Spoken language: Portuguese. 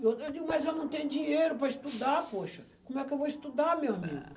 Eu digo, mas eu não tenho dinheiro para estudar, poxa, como é que eu vou estudar, meu amigo?